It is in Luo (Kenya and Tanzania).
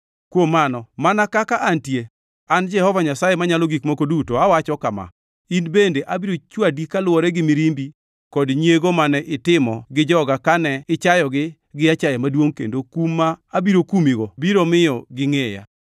kuom mano, mana kaka antie, an Jehova Nyasaye Manyalo Gik Moko Duto awacho kama: In bende abiro chwadi kaluwore gi mirimbi kod nyiego mane itimo gi joga kane ichayogi gi achaya maduongʼ, kendo kum ma abiro kumigo biro miyo gingʼeya.